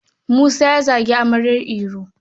Musa ya zagi amaryar Iro.